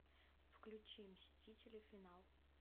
включи мстители финал